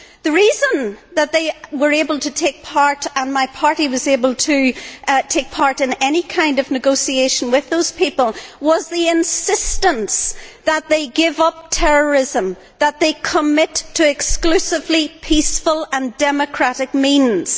The reason that they were able to take part, and my party was able to take part in any kind of negotiation with those people, was the insistence that they give up terrorism and that they commit to exclusively peaceful and democratic means.